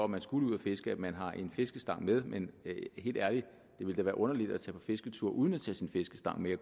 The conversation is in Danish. man skulle ud at fiske at man har en fiskestang med men helt ærligt det ville da være underligt at tage på fisketur uden at tage sin fiskestang med